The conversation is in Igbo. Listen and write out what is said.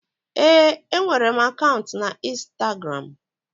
Ee, enwere m akaụntụ na Instagramu.